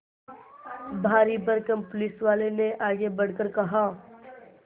भारीभरकम पुलिसवाले ने आगे बढ़कर कहा